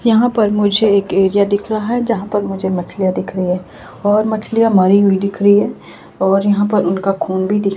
यहाँ पर मुझे एक एरिया दिख रहा है जहाँ पर मुझे मछलियां दिख रही है और मछलियां मरी हुई दिख रही है और यहाँ पर उनका खून भी दिख रहा --